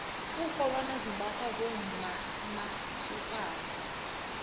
iinrholwone zimbathwa bommqmasokana